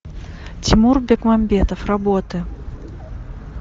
тимур бекмамбетов работы